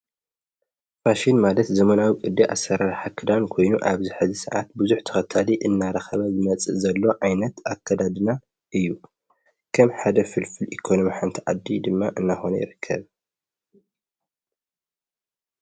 ፋሽን ማለት ዘመናዊ ቅዲ ኣሠራር ክዳን ኮይኑ ኣብዝ ሕዚ ሰዓት ብዙኅ ተኸታሊ እናረኸበ ዝመጽእ ዘሎ ዓይነት ኣከዳድና እዩ ከም ሓደ ፍልፍል ኢኮኖም ሓንቲ ዓዲ ድማ እናሆነ ይረከብ።